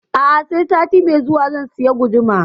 A'a sai sati mai zuwa zan sayi gudumar